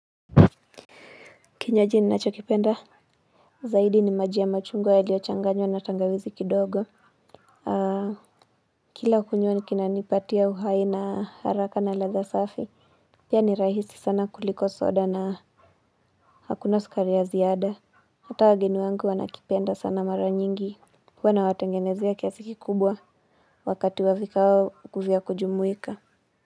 Kinywaji ninachokipenda zaidi ni maji ya machungwa yaliochanganywa na tangawizi kidogo. Aa. Kila ukunywa kinanipatia uhai na haraka na ladha safi. Pia ni rahisi sana kuliko soda na hakuna sukari ya ziada. Hata wageni wangu wanakipenda sana mara nyingi huwa nawatengenezea kiasi kikubwa wakati wa vikao vya kujumuika.